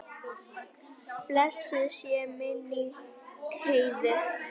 Blessuð sé minning Heiðu.